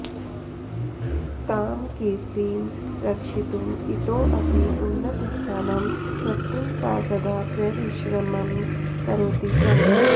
तां कीर्तिं रक्षितुम् इतोऽपि उन्नतस्थानं प्रप्तुं सा सदा प्ररिश्रमं करोति स्म